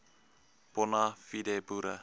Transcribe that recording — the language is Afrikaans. bona fide boere